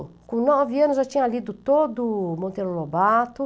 Com nove anos eu já tinha lido todo o Monteiro Lobato.